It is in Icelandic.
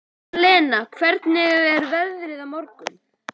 Alena, hvernig er veðrið á morgun?